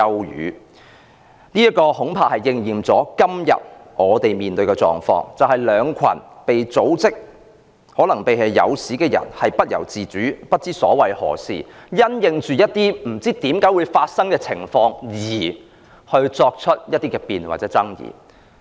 "這番話恐怕應驗在今天我們面對的狀況，就是兩群被組織、可能更是被誘使的人不由自主，不明所以，因應一些不知為何會發生的情況而辯論或爭議。